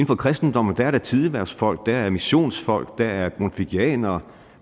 for kristendommen er der tidehvervsfolk der er missionsfolk der er grundtvigianere